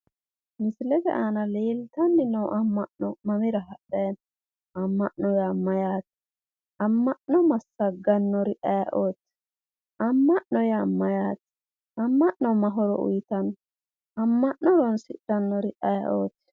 Misilete aana leeltanni noo amma'no mamira hadhayi no? amma'no yaa mayyaate? amma'no massaggannori ayeeooti? amma'no yaa mayyaate? amma'no ma horo uuyiitanno? amma'no horonsidhannori ayeeooti?